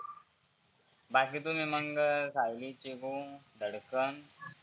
बाकी तुम्ही मग सायली, चीबु, धडकन